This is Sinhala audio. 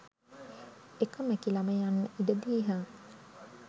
එක මැකිලම යන්න ඉඩ දීහන්.